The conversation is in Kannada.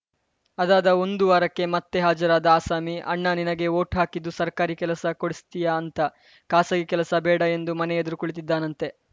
ಅದಾದ ಒಂದು ವಾರಕ್ಕೆ ಮತ್ತೆ ಹಾಜರಾದ ಆಸಾಮಿ ಅಣ್ಣಾ ನಿನಗೆ ವೋಟ್‌ ಹಾಕಿದ್ದು ಸರ್ಕಾರಿ ಕೆಲಸ ಕೊಡಿಸ್ತೀಯಾ ಅಂತ ಖಾಸಗಿ ಕೆಲಸ ಬೇಡ ಎಂದು ಮನೆ ಎದುರು ಕುಳಿತಿದ್ದಾನಂತೆ